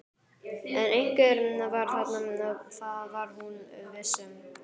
En einhver var þarna, það var hún viss um.